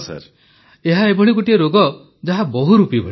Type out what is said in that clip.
ପ୍ରଧାନମନ୍ତ୍ରୀ ଏହା ଏଭଳି ଗୋଟିଏ ରୋଗ ଯାହା ବହୁରୂପୀ ଭଳି